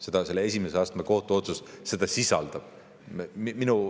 Seda esimese astme kohtu otsus sisaldab.